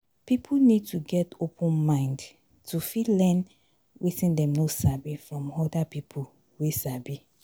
pipo need to get open open mind to fit learn wetin dem no sabi from oda pipo wey sabi